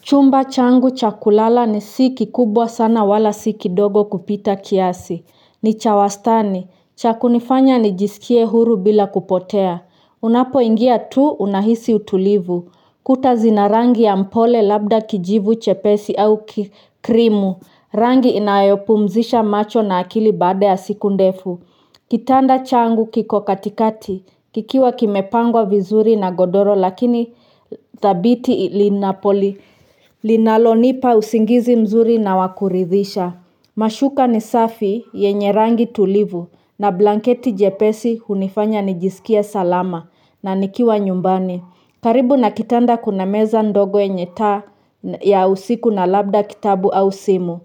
Chumba changu chakulala ni siki kubwa sana wala sikidogo kupita kiasi, ni cha wastani, cha kunifanya nijisikie huru bila kupotea, unapo ingia tu unahisi utulivu, kuta zina rangi ya mpole labda kijivu chepesi au kikrimu, rangi inayopumzisha macho na akili baada ya siku ndefu kitanda changu kiko katikati, kikiwa kimepangwa vizuri na godoro lakini dhabiti linapoli, linalonipa usingizi mzuri na wakuridhisha. Mashuka ni safi yenye rangi tulivu na blanketi jepesi hunifanya nijisikie salama na nikiwa nyumbani karibu na kitanda kuna meza ndogo yenye taa ya usiku na labda kitabu au simu,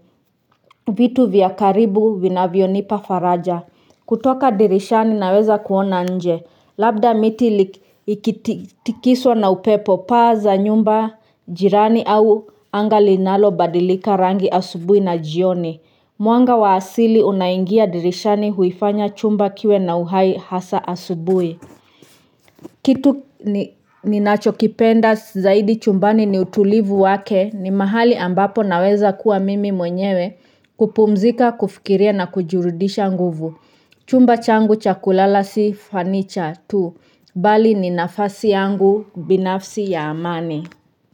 vitu vya karibu vinavyo nipa faraja. Kutoka dirishani naweza kuona nje. Labda miti ikitikiswa na upepo paa za nyumba, jirani au anga linalo badilika rangi asubuhi na jioni. Mwanga wa asili unaingia dirishani huifanya chumba kiwe na uhai hasa asubuhi. Kitu ni nachokipenda zaidi chumbani ni utulivu wake ni mahali ambapo naweza kuwa mimi mwenyewe kupumzika kufikiria na kujirudisha nguvu. Chumba changu chakulala si fanicha tu. Bali ni nafasi yangu binafsi ya amani.